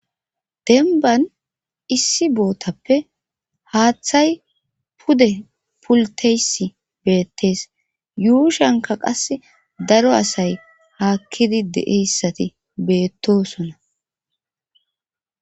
denban issi bootappe haaththay pude pulteysi beettees yuushanka qas daro asay haakkidi de'eyissati beettosona